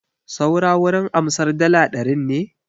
Suna wurin amsar dala ɗarin ne?